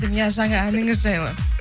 иә жаңа әніңіз жайлы